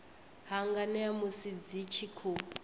hanganea musi dzi tshi khou